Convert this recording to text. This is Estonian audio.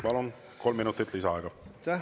Palun, kolm minutit lisaaega!